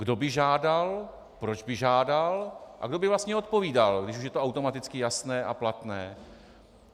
Kdo by žádal, proč by žádal a kdo by vlastně odpovídal, když už je to automaticky jasné a platné?